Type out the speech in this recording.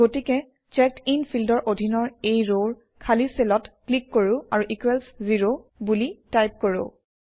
গতিকে চেকডিন ফিল্ডৰ অধীনৰ এই ৰৰ খালী চেলত ক্লিক কৰোঁ আৰু ইকোৱেলছ জেৰ বুলি টাইপ কৰোঁ